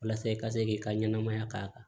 Walasa i ka se k'i ka ɲɛnamaya k'a kan